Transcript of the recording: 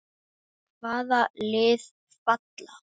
Hvaða lið falla?